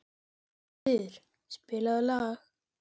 Jónfríður, spilaðu lag.